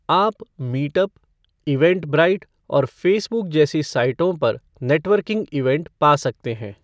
आप Meetup, Eventbrite और Facebook जैसी साइटों पर नेटवर्किंग इवेंट पा सकते हैं।